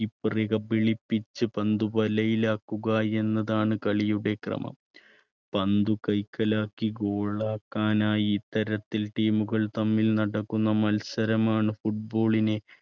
per റെ കബളിപ്പിച്ച് പന്ത് വലയിലാക്കുക എന്നതാണ് കളിയുടെ ക്രമം. പന്ത് കൈക്കലാക്കി goal ആക്കാൻ ആയി ഇത്തരത്തിൽ team കൾ തമ്മിൽ നടക്കുന്ന മത്സരമാണ് football നെ